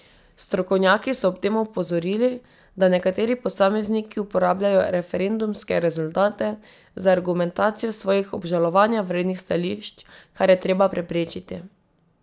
Strokovnjaki so ob tem opozorili, da nekateri posamezniki uporabljajo referendumske rezultate za argumentacijo svojih obžalovanja vrednih stališč, kar je treba preprečiti.